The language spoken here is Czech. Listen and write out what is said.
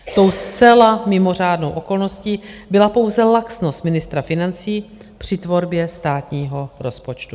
Tou zcela mimořádnou okolností byla pouze laxnost ministra financí při tvorbě státního rozpočtu.